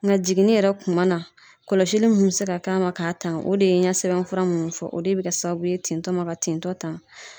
Nka jiginni yɛrɛ kuma na kɔlɔsili mun bɛ se ka k'a ma k'a tanga o de ye n ɲɛ sɛbɛnfura minnu fɔ o de bɛ kɛ sababu ye tintɔ ma ka tintɔ tanga.